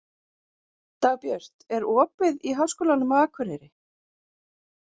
Dagbjört, er opið í Háskólanum á Akureyri?